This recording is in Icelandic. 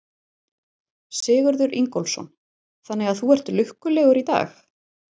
Sigurður Ingólfsson: Þannig að þú ert lukkulegur í dag?